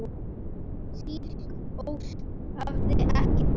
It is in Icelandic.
Slík ósk hefði ekki borist.